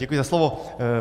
Děkuji za slovo.